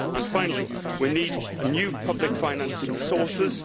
Finally, we need new public financing sources.